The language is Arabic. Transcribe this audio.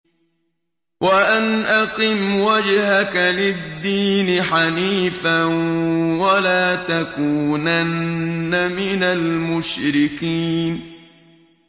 وَأَنْ أَقِمْ وَجْهَكَ لِلدِّينِ حَنِيفًا وَلَا تَكُونَنَّ مِنَ الْمُشْرِكِينَ